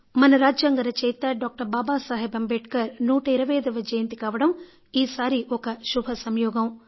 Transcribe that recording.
మన రాజ్యాంగ రచయిత డాక్టర్ బాబా సాహెబ్ అంబేద్కర్ 125వ జయంతి కావడం ఈసారి ఒక శుభ సంయోగం